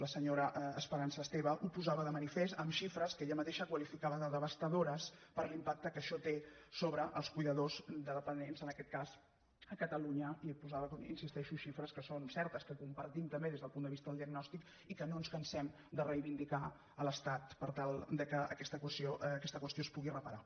la se·nyora esperança esteve ho posava de manifest amb xifres que ella mateixa qualificava de devastadores per l’impacte que això té sobre els cuidadors de de·pendents en aquest cas a catalunya i posava com hi insisteixo xifres que són certes que compartim tam·bé des del punt de vista de la diagnosi i que no ens cansem de reivindicar a l’estat per tal que aquesta qüestió es pugui reparar